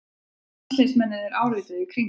Landsliðsmennirnir árituðu í Kringlunni